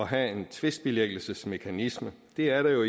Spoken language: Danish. have en tvistbilæggelsesmekanisme det er jo